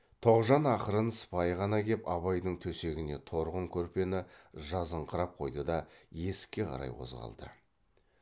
тоғжан ақырын сыпайы ғана кеп абайдың төсегіне торғын көрпені жазыңқырап қойды да есікке қарай қозғалды